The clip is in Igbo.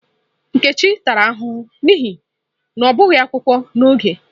Nkechi tara ahụhụ n'ihi na ọ bịaghi akwụkwọ n'oge.